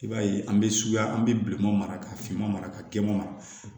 I b'a ye an bɛ suguya an bɛ bileman mara ka finma mara ka gun mara